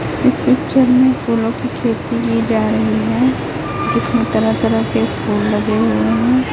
Picture में फूलों की खेती की जा रही है जिसमें तरह तरह के फूल लगे हुए हैं।